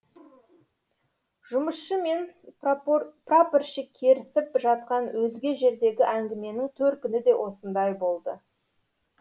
жұмысшы мен прапорщик керісіп жатқан өзге жердегі әңгіменің төркіні де осындай болды